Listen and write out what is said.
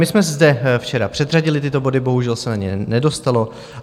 My jsme zde včera předřadili tyto body, bohužel se na ně nedostalo.